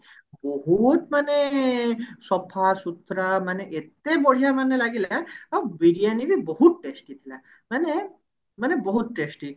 ବହୁତ ମାନେ ସଫାସୁତୁରା ମାନେ ଏତେ ବଢିଆ ମାନେ ଲାଗିଲା ଆଉ ବିରିୟାନୀ ବି ବହୁତ test ହେଇଥିଲା ମାନେ ମାନେ ବହୁତ testy